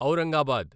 Aurangabad